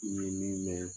N ye min mɛn